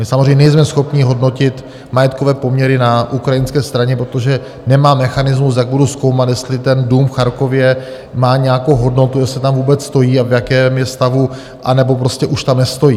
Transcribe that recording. My samozřejmě nejsme schopni hodnotit majetkové poměry na ukrajinské straně, protože nemám mechanismus, jak budu zkoumat, jestli ten dům v Charkově má nějakou hodnotu, jestli tam vůbec stojí a v jakém je stavu, anebo prostě už tam nestojí.